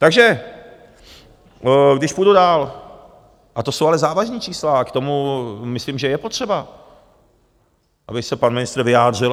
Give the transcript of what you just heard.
Takže když půjdu dál - a to jsou ale závažná čísla a k tomu myslím, že je potřeba, aby se pan ministr vyjádřil.